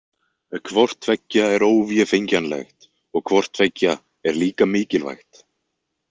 Hvort tveggja er óvéfengjanlegt og hvort tveggja er líka mikilvægt.